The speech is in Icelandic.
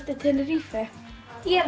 til Tenerife ég